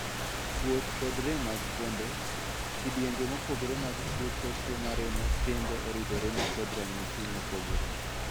Kuot kod rem mag fuonde. kidienje mopogore mag tuo choke maremo kendo oridore ni kod ranyisi mopogore.